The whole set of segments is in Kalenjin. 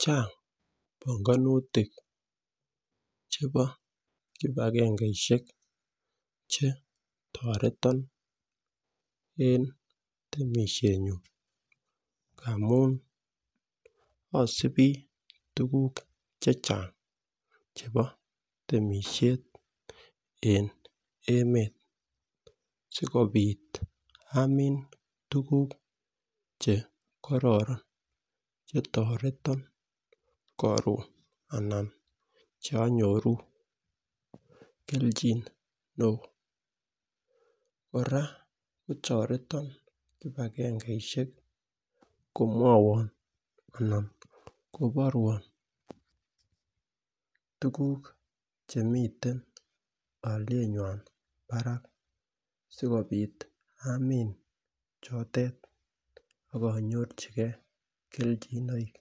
Chang bongonutik chebo kipagengeishek chetoreton en temishet nyun ngamun osibi tukuk chechang chebo temishet en emet sikopit amun tukuk chekororon chetoreti korun ana chekonyoru keljin neo. Koraa kotoreti kipagengeishek koborwon tukuk chemiten olienywan barak sikopit amin chotet ak inyorchigee keljinoik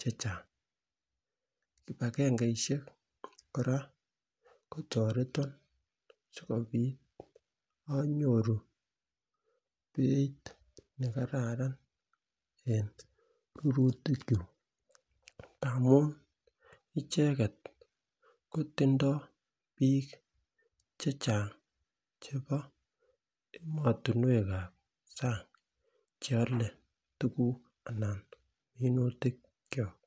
chechang. Kipagengeishek koraa kotoreton sikopit onyoru beit nekararan en rurutik kyuk ngamun icheket kotindo bik chechang chebo emotunwekab sang cheolen tukuk ana minutik kyok.